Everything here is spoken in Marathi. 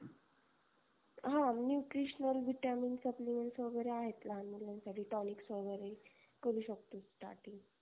हा nutritional vitamins supplements वगेरे आहेत लहान मुलांसाठी tonics वगेरे करू शकतो starting